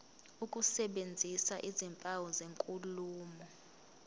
ukusebenzisa izimpawu zenkulumo